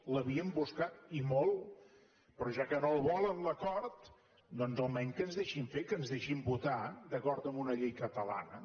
l’havíem buscat i molt però ja que no el volen l’acord doncs almenys que ens deixin fer que ens deixin votar d’acord amb una llei catalana